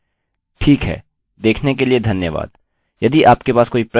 अतः इसको अपने दिल से प्रयोग कीजिये ठीक है देखने के लिए धन्यवाद